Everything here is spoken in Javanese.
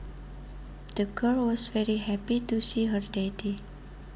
The girl was very happy to see her daddy